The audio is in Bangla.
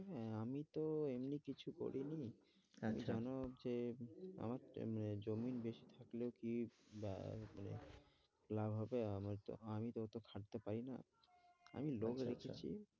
এই আমি তো এমনি কিছু করিনি আচ্ছা, তার কারণ হচ্ছে আমার জমির বেশ কিছু গুলো কি আহ লাভ হবে, আমি তো আমি তো অতো খাটতে পারি না, আমি লোক রেখেছি।